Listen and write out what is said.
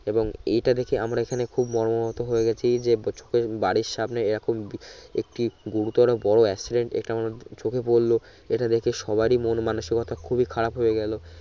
এবং এটা দেখে আমরা এখানে খুব মর্মাহত হয়ে গেছি যে চোখে বাড়ির সামনে এ রকম বি একটি গুরুতর বড় accident একিমা চোখে পরলো এটা দেখে সবারই মন মানুষীকতা খুবি খারাপ হয়ে গেলো